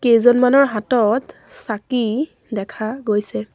কেইজনমানৰ হাতত চাকি দেখা গৈছে।